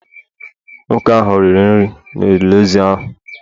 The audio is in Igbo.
Nwoke ahụ rie nri n’olili ozu ahụ